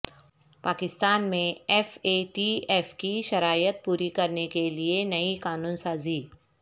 پاکستان میں F A T F کی شرائط پوری کرنے کے لئے نئی قانون سازی